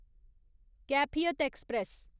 Kaifiyat express